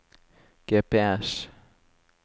GPS